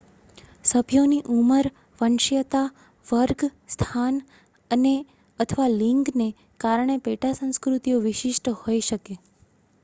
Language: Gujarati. સભ્યોની ઉંમર વંશીયતા વર્ગ સ્થાન અને/અથવા લિંગને કારણે પેટા સંસ્કૃતિઓ વિશિષ્ટ હોઈ શકે